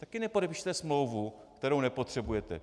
Taky nepodepíšete smlouvu, kterou nepotřebujete.